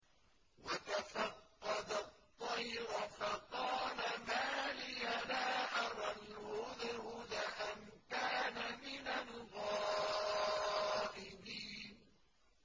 وَتَفَقَّدَ الطَّيْرَ فَقَالَ مَا لِيَ لَا أَرَى الْهُدْهُدَ أَمْ كَانَ مِنَ الْغَائِبِينَ